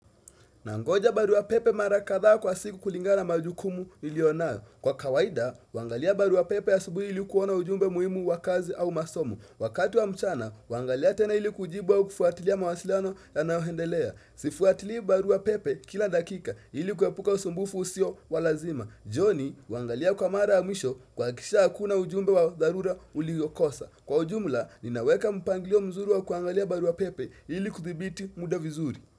Nangoja barua pepe mara kadhaa kwa siku kulingana na majukumu nilionayo. Kwa kawaida, huangalia barua pepe asubuhi ili kuona ujumbe muhimu wa kazi au masomo. Wakati wa mchana, huangalia tena ili kujibu au kufuatilia mawasilano yanayoendelea. Sifuatili barua pepe kila dakika ili kuepuka usumbufu usio wa lazima. Jioni, huangalia kwa mara ya mwisho kuhakisha hakuna ujumbe wa dharura uliyokosa. Kwa ujumla, ninaweka mpangilio mzuri wa kuangalia barua pepe ili kudhibiti muda vizuri.